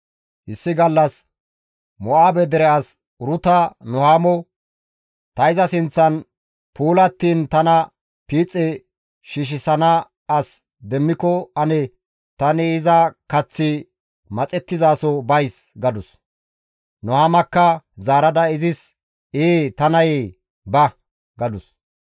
Issi gallas Mo7aabe dere as Uruta Nuhaamo, «Ta iza sinththan puulattiin tana piixe shiishshisana as demmiko ane tani iza kaththi maxettizaso bays» gadus. Nuhaamakka zaarada izis, «Ee ta nayee ba» gadus.